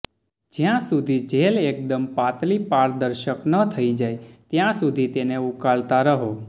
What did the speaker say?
જ્યાં સુધી જેલ એક દમ પાતળી પારદર્શક ન થઈ જાય ત્યાં સુધી તેને ઉકાળતા રહો